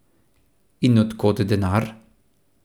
In od kod denar?